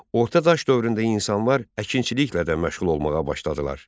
Orta daş dövründə insanlar əkinçiliklə də məşğul olmağa başladılar.